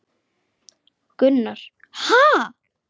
Gunnar: Ha!